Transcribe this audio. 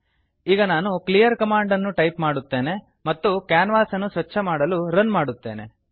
ಈಗ ನಾನು ಕ್ಲೀಯರ್ ಕಮಾಂಡನ್ನು ಟೈಪ್ ಮಾಡುತ್ತೇನೆ ಮತ್ತು ಕ್ಯಾನ್ವಾಸನ್ನು ಸ್ವಚ್ಛ ಮಾಡಲು ರನ್ ಮಾಡುತ್ತೇನೆ